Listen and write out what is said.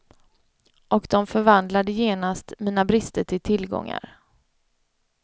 Och de förvandlade genast mina brister till tillgångar.